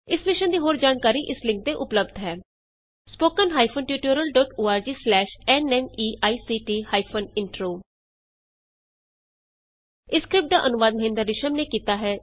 ਇਸ ਮਿਸ਼ਨ ਦੀ ਹੋਰ ਜਾਣਕਾਰੀ ਇਸ ਲਿੰਕ ਤੇ ਉਪਲੱਭਦ ਹੈ spoken hyphen tutorial dot ORG slash N MEICT hyphen intro ਇਸ ਸਕਰਿਪਟ ਦਾ ਅਨੁਵਾਦ ਮਹਿੰਦਰ ਰਿਸ਼ਮ ਨੇ ਕੀਤਾ ਹੈ